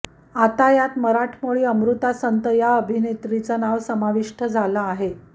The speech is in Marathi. यात आता मराठमोळी अमृता संत या अभिनेत्रीचं नाव समाविष्ट झालं आहे